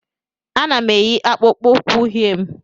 Ana m eyi akpụkpọ ụkwụ uhie m